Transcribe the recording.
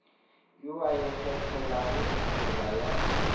yo a ikgethelago tsela ya